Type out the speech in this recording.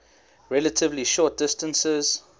relatively short distances